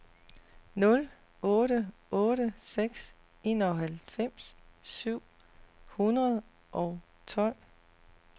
nul otte otte seks enoghalvfems syv hundrede og tolv